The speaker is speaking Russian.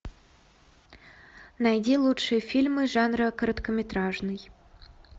найди лучшие фильмы жанра короткометражный